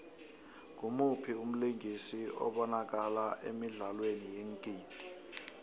ngumuphi umlingisi obanakala emidlalweni yeengidi